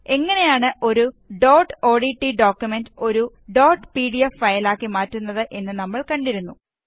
എങ്ങനെയാണ് ഒരു dot ODT document ഒരു ഡോട്ട് പിഡിഎഫ് ഫയലാക്കി മാറ്റുന്നത് എന്ന് നമ്മള് കണ്ടിരുന്നു